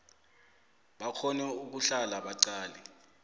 bakghone ukuhlala baqale